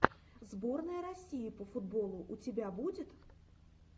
сборная россии по футболу у тебя будет